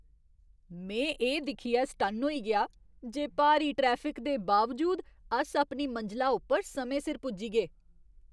में एह् दिक्खियै सटन्न होई गेआ जे भारी ट्रैफिक दे बावजूद, अस अपनी मंजला उप्पर समें सिर पुज्जी गे! "